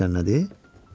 Bilirsən nədir?